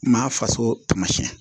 Maa faso taamasiyɛn